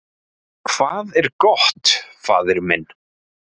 """Hvað er gott, faðir minn?"""